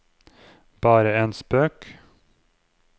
bare en spøk